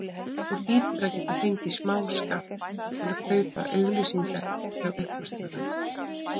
Þú hlýtur að geta fengið smáskammt til að kaupa upplýsingar hjá uppljóstrara?